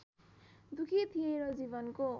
दुखी थिए र जीवनको